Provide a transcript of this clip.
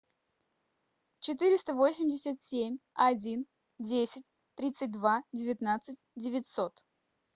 четыреста восемьдесят семь один десять тридцать два девятнадцать девятьсот